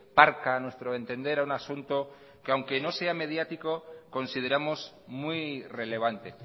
parca a nuestro entender a un asunto que aunque no sea mediático consideramos muy relevante